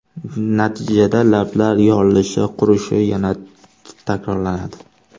Natijada lablar yorilishi, qurishi yana takrorlanadi.